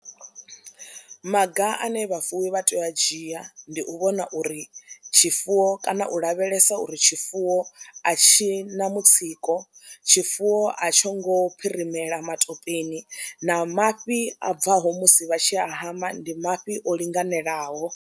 Maga ane vhafuwi vha tea u a dzhia ndi u vhona uri tshifuwo kana u lavhelesa uri tshifuwo a tshi na mutsiko, tshifuwo a tsho ngo phirimela matopeni na mafhi a bvaho musi vha tshi a hama ndi mafhi o linganelaho.